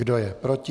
Kdo je proti?